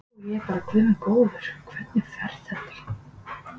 Og ég bara guð minn góður, hvernig fer þetta?